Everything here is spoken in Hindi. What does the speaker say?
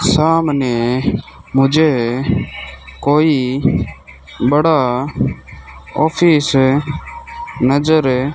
सामने मुझे कोई बड़ा ऑफिस नजर --